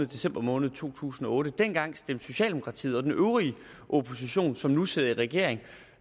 december måned to tusind og otte dengang stemte socialdemokratiet og den øvrige opposition som nu sidder i regering